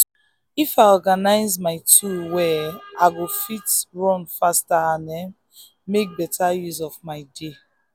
if i organize my tools well i go um fit work faster and um make better use um of my day.